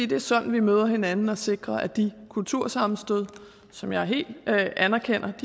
det er sådan vi møder hinanden og sikrer os mod de kultursammenstød som jeg helt anerkender